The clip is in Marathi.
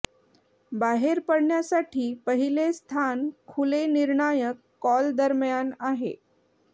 बाहेर पडण्यासाठी पहिले स्थान खुले निर्णायक कॉल दरम्यान आहे